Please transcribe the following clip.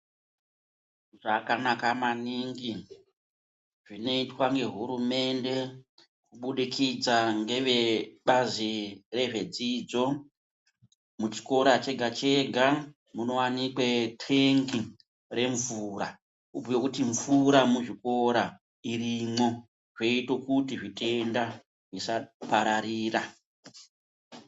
Zvakanaka maningi zvinoitwa nehurumende kubudikidza ngevebazi rezvedzidzo muchikora chega chega munowanikwe tengi remvura, kubhuye kuti mvura muzvikora irimwo zvoite kuti zvitenda zvisapararira.